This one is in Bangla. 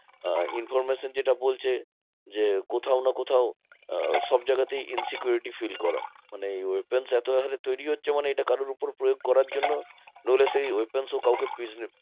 আহ information যেটা বলছে যে, কোথাও না কোথাও আহ সবজায়গাতেই insecurity fill করা। মানে এই weapons এত হরে তৈরী হচ্ছে মানে এটা কারোর উপর প্রযোগ করার জন্য নইলে সেই weapons ও কাউকে